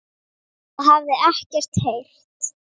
og hafði ekkert heyrt.